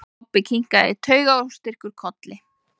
Kobbi kinkaði taugaóstyrkur kolli.